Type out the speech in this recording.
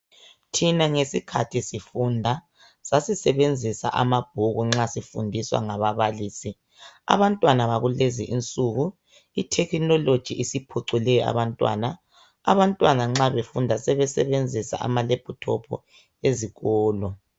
Thina ngesikhathi sifunda, sasisebenzisa amabhuku nxa sifundiswa ngababalisi. Abantwana bakulezinsuku, ithekhinoloji isiphucule abantwana. Sebesebenzisa amalephuthophu nxa befunda ezikolo.